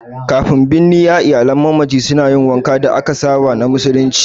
Kafin binniya, iyalan mamaci suna yin wankan da aka saba na musulunci.